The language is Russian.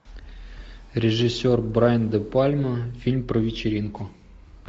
режиссер брайан де пальма фильм про вечеринку